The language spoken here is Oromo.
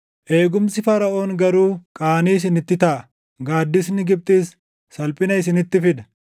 Eegumsi Faraʼoon garuu qaanii isinitti taʼa; gaaddisni Gibxis salphina isinitti fida.